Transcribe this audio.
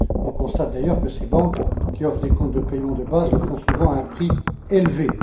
On constate, d'ailleurs, que les banques qui offrent des comptes de paiement de base le font souvent à un prix élevé.